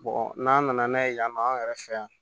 n'an nana n'a ye yan nɔ an yɛrɛ fɛ yan